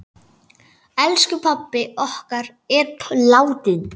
Elsku pabbi okkar er látinn.